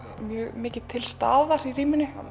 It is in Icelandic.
mjög mikið til staðar í rýminu